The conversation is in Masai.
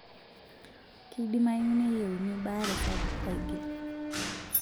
Keidamayu neyieuni baare sapuk aigil.